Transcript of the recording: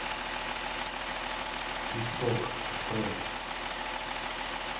исток открой